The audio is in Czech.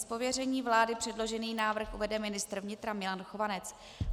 Z pověření vlády předložený návrh uvede ministr vnitra Milan Chovanec.